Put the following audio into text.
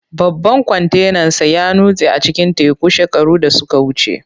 Babban kwantenansa ya nutse a cikin teku shekaru da suka wuce.